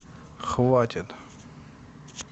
хватит